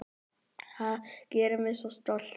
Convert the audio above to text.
Það gerir mig svo stoltan.